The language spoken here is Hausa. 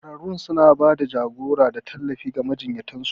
Ƙwararrun suna ba da jagora da tallafi ga majiyyatan su.